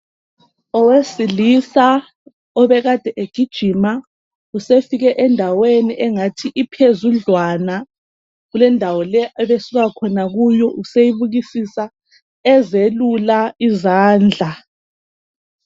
Owesilisa obekade egijima usefike endaweni engathi iphezudlwana kulendawo le ebe suka khona kuyo useyibukisisa ezelula izandla .